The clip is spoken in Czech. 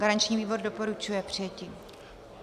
Garanční výbor doporučuje přijetí.